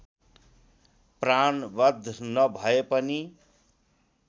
प्राणवध नभए पनि